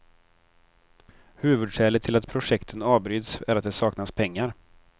Huvudskälet till att projekten avbryts är att det saknas pengar.